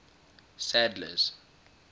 sadler's